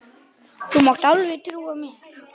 Þú mátt alveg trúa mér!